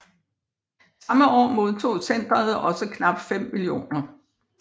Samme år modtog centret også knap 5 mio